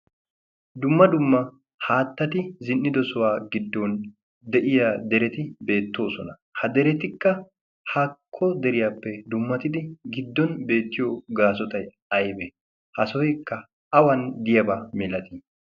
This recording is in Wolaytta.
dumma dumma haattati zin'ido suwaa giddon de'iya dereti beettoosona. ha deretikka haakko deriyaappe dummatidi giddon beettiyo gaasotai aibe ha sohoikka awan diyabaa milatii?